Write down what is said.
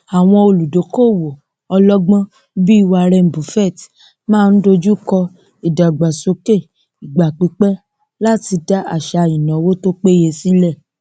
àwọn olùdókòowó ọlọgbọn bíi warren buffett máa ń dojukọ ìdàgbàsókè ìgbàpípé láti dá àṣà ináwó tó péye sílẹ